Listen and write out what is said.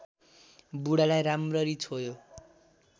बुढालाई राम्ररी छोयो